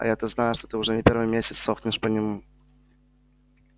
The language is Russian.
а я-то знаю что ты уже не первый месяц сохнешь по нему